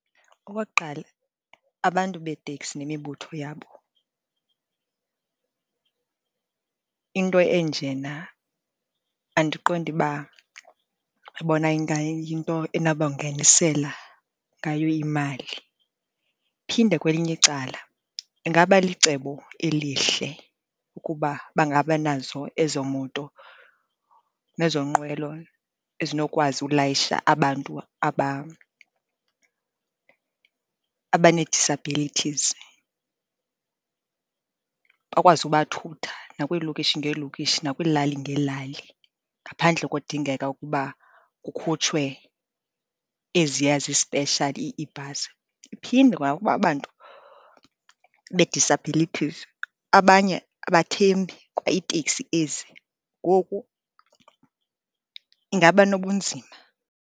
Okokuqala, abantu beeteksi nemibutho yabo into enjena andiqondi uba bona ingayinto enabangenisela ngayo imali. Phinde kwelinye icala ingaba licebo elihle ukuba bangaba nazo ezo moto nezo nqwelo ezinokwazi ulayisha abantu abanee-disabilities, bakwazi ubathutha nakwiilokishi ngeelokishi nakwiilali ngeelali, ngaphandle kodingeka ukuba kukhutshwe eziya zispeshali iibhasi. Iphinde kwa aba bantu bee-disabilities, abanye abathembi kwa iitekisi ezi. Ngoku ingaba nobunzima.